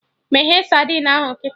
Meghee sadin ahụ kịta!